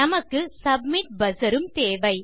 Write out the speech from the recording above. நமக்கு submit buzzer உம் தேவை